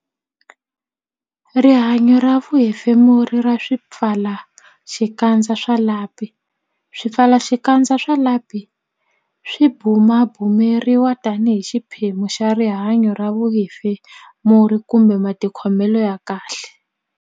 Rihanyo ra vuhefemuri ra swipfalaxikandza swa lapi Swipfalaxikandza swa lapi swi bumabumeriwa tanihi xiphemu xa rihanyo ra vuhefemuri kumbe matikhomelo ya kahle.